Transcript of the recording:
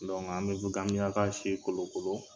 an bɛ gamiyaka si kolo kolo.